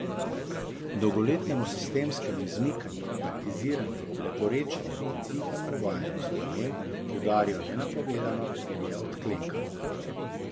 Dolgoletnemu sistemskemu izmikanju, taktiziranju, leporečenju in tihemu uvajanju sprememb, ki udarijo nenapovedano, je odklenkalo.